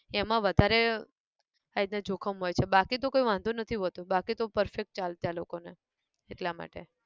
એમાં વધારે આ રીત ના જોખમ હોય છે બાકી તો કોઈ વાંધો નથી હોતો બાકી તો perfect ચાલતે આ લોકો ને, એટલા માટે